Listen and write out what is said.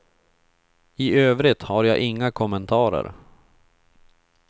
I övrigt har jag inga kommentarer.